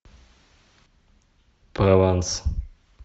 прованс